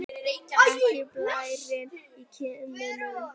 Ekki blærinn á kinnunum.